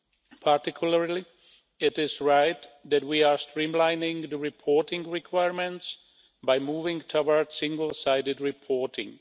In particular, it is right that we are streamlining the reporting requirements by moving toward single sided reporting.